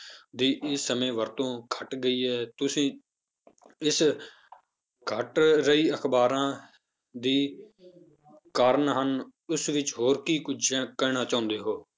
ਦੀ ਇਸ ਸਮੇਂ ਵਰਤੋਂ ਘੱਟ ਗਈ ਹੈ, ਤੁਸੀਂ ਇਸ ਘੱਟ ਰਹੀ ਅਖ਼ਬਾਰਾਂ ਦੀ ਕਾਰਨ ਹਨ, ਇਸ ਵਿੱਚ ਹੋਰ ਕੀ ਕੁੱਝ ਕਹਿਣਾ ਚਾਹੁੰਦੇ ਹੋ?